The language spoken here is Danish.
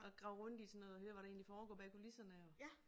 At grave rundt i sådan noget og høre hvad der egentlig foregår bag kulisserne og